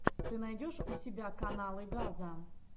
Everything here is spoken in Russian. ты найдешь у себя каналы газа